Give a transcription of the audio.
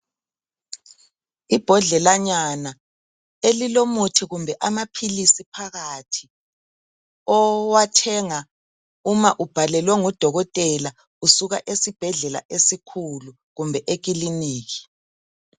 Ibhodlelanyana elilomuthi kumbe amaphilisi phakathi owathenga uma ubhalelwe ngudokotela usuka esibhedlela esikhulu kumbe ekiliniki